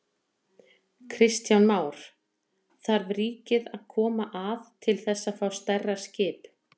Kristján Már: Þarf ríkið að koma að til þess að fá stærra skip?